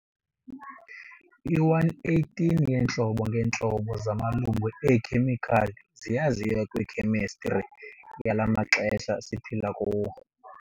I-118 yeentlobo ngeentlobo zamalungu eekhemikhali ziyaziwa kwi-khemistri yala maxesha siphila kuwo.